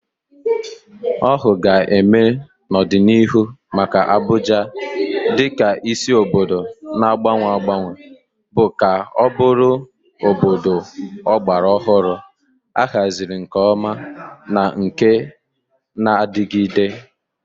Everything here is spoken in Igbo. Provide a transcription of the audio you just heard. Ọhụụ ga-eme n'ọdịnihu maka Abuja dị ka isi obodo na-agbanwe agbanwe bụ ka ọ bụrụ obodo ọgbara ọhụrụ, ahaziri nke ọma, na nke na-adigide.